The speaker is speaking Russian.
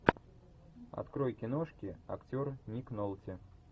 открой киношки актер ник нолти